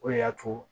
O de y'a to